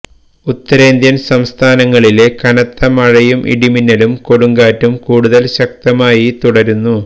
ഉത്തരേന്ത്യന് സംസ്ഥാനങ്ങളിലെ കനത്ത മഴയും ഇടിമിന്നലും കൊടുങ്കാറ്റും കൂടുതല് ശക്തമായി തുടരുന്നു